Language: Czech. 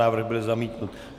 Návrh byl zamítnut.